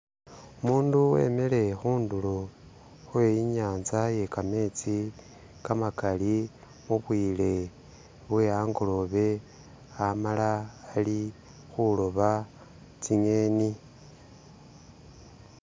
Umundu wemele khundulo Khwe inyanza iye kametsi kamakali khubwile bwe angolobe amaala ali khuloba tsi'ngeni